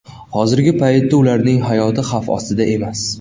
Hozirgi paytda ularning hayoti xavf ostida emas.